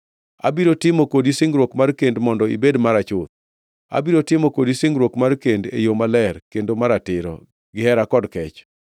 Abiro timo kodi singruok mar kend mondo ibed mara chuth; abiro timo kodi singruok mar kend e yo maler kendo maratiro, gihera kod kech.